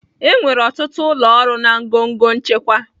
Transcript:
Enwere ọtụtụ ụlọ ọrụ na ngọngọ nchịkwa